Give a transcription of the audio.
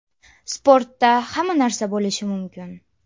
Sportda hamma narsa bo‘lishi mumkin.